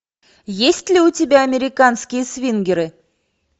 есть ли у тебя американские свингеры